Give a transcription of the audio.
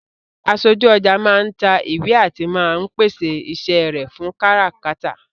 Aṣojú ọjà máa ń ta ìwé àti máa ń pèsè iṣẹ́ rẹ fún káràkátà